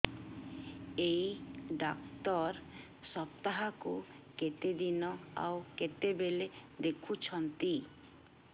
ଏଇ ଡ଼ାକ୍ତର ସପ୍ତାହକୁ କେତେଦିନ ଆଉ କେତେବେଳେ ଦେଖୁଛନ୍ତି